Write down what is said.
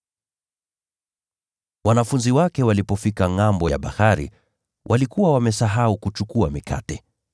Wanafunzi wake walipofika ngʼambo ya bahari, walikuwa wamesahau kuchukua mikate.